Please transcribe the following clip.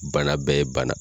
Bana bɛ ye bana